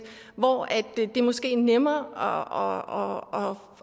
hvor det måske er nemmere